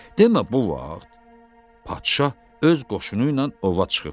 Demə bu vaxt padşah öz qoşunu ilə ova çıxıbmış.